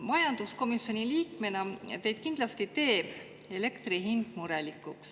Majanduskomisjoni liikmena teid kindlasti teeb elektri hind murelikuks.